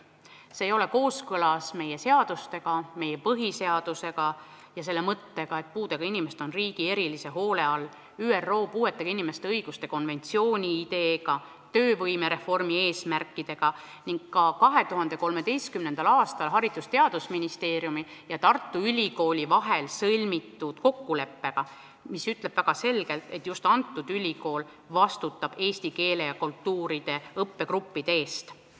See ei ole kooskõlas meie seadustega, meie põhiseadusega ja selle põhimõttega, et puudega inimesed on riigi erilise hoole all, ÜRO puuetega inimeste õiguste konventsiooni sisuga, töövõimereformi eesmärkidega ning ka 2013. aastal Haridus- ja Teadusministeeriumi ja Tartu Ülikooli vahel sõlmitud kokkuleppega, kus on väga selgelt öeldud, et just see kõrgkool vastutab eesti keele ja kultuuride õppegruppide eest.